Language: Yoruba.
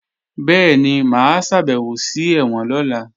Bẹ́ẹ̀ni, mà á ṣàbẹ̀wò sí ẹ̀wọ̀n lọ́la